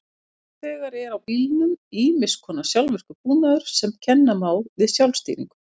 Nú þegar er í bílum ýmiss konar sjálfvirkur búnaður sem kenna má við sjálfstýringu.